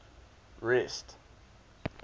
rest